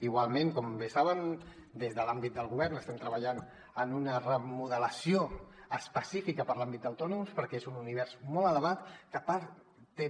igualment com bé saben des de l’àmbit del govern estem treballant en una remodelació específica per a l’àmbit d’autònoms perquè és un univers molt elevat que a part té